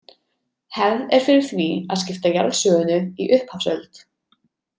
Hefð er fyrir því að skipta jarðsögunni í upphafsöld.